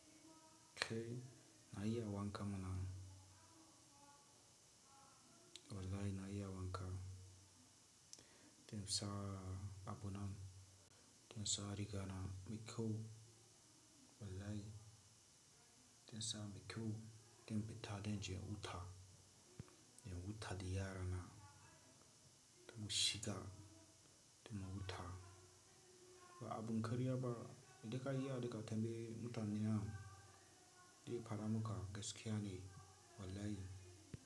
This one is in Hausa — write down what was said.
Khe, na iya wanka mana. Wallahi na iya wanka. Tin sa abun nan, tin sa riga na mikkhu. Wallahi in sa mai kyau infita danje huta in huta de yara na. Tin mu shiga, dum mu huta abun karya ba idan kagiyawa mutane dekaramuka gaskiya ne wallahi.